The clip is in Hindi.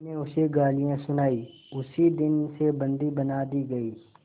मैंने उसे गालियाँ सुनाई उसी दिन से बंदी बना दी गई